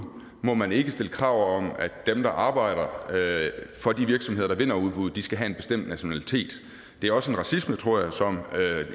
må man ikke stille krav om at dem der arbejder for de virksomheder der vinder udbuddet skal have en bestemt nationalitet det er også en racisme tror jeg som